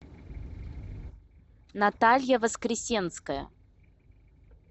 наталья воскресенская